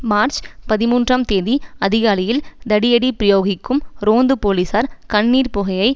March பதிமூன்றாம் தேதி அதிகாலையில் தடியடி பிரயோகிக்கும் ரோந்து போலீசார் கண்ணீர்ப்புகையை